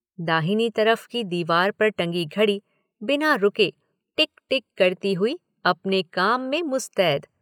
दाहिनी तरफ़ की दीवार पर टंगी घड़ी बिना रुके टिक टिक करती हुई अपने काम में मुस्तैद।